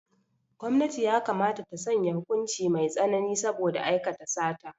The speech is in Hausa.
Gwamnati yakamata ta sanya hukuci mai tsanani saboda aikata sata.